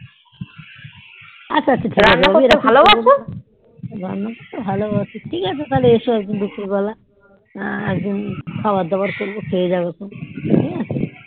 আচ্ছা আচ্ছা ঠিক আছে রান্না করতে ভালোবাসি ঠিক আছে তাহলে এস দুপুর বেলা খাবার দাবার করবো খেয়ে যাবে খান ঠিক আছে